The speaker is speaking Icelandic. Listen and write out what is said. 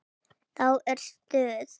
Þá er stuð.